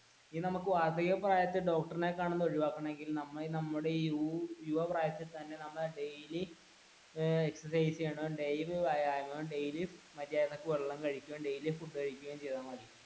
ഇനി നമുക്ക് വാർദ്ധക്യ പ്രായത്തിൽ ഡോക്ടറിനെ കാണുന്നത് ഒഴിവാക്കണമെങ്കിൽ നമ്മുടെ യുവ പ്രായത്തിൽ തന്നെ daily exercise ചെയ്യണം, daily വ്യായാമം ചെയ്യണം, daily മര്യാദക്ക് വെള്ളം കഴിക്കണം, daily ഫുഡ് കഴിക്കുകയും ചെയ്താൽ മതി.